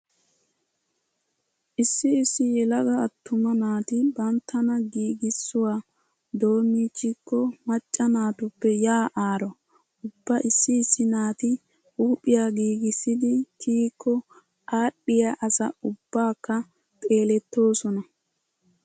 Issi issi yelaga attuma naati banttana giigissuwa doommiichchikko macca naatuppe yaa aaro. Ubba issi issi naati huuphiya giigissidi kiyikko aadhdhiya asa ubbaakka xeelettoosona.